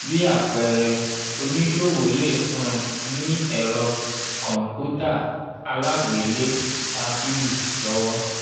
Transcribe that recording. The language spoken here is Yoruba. bí àpẹẹrẹ oníṣòwò lè um ní ẹ̀rọ kọ̀ǹpútà alágbé-lé-tábìlì lọ́wọ́.